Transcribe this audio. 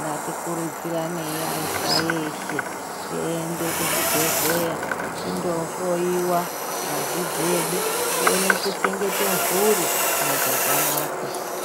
ngatikurudziranei aisa eshe tiende kuzvibhedhleya tinohloiwa ngazi dzedu tione kuchengete mburi muchakanaka.